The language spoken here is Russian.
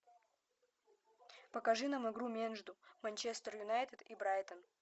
покажи нам игру между манчестер юнайтед и брайтон